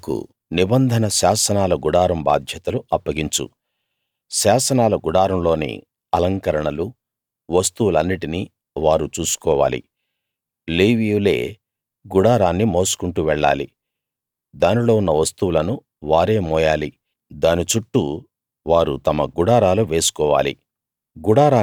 వాళ్లకు నిబంధన శాసనాల గుడారం బాధ్యతలు అప్పగించు శాసనాల గుడారం లోని అలంకరణలూ వస్తువులన్నిటినీ వారు చూసుకోవాలి లేవీయులే గుడారాన్ని మోసుకుంటూ వెళ్ళాలి దానిలో ఉన్న వస్తువులను వారే మోయాలి దాని చుట్టూ వారు తమ గుడారాలు వేసుకోవాలి